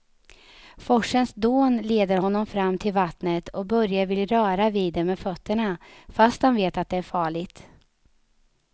Forsens dån leder honom fram till vattnet och Börje vill röra vid det med fötterna, fast han vet att det är farligt.